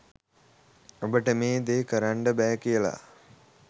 ඔබට මේ ‍දේ කරන්න බෑ කියලා